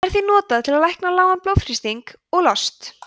það er því notað til að lækna lágan blóðþrýsting og lost